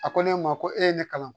A ko ne ma ko e ye ne kalan